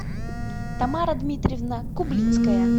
тамара дмитриевна кублицкая